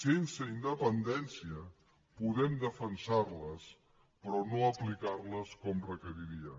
sense independència podem defensarles però no aplicarles com requeriria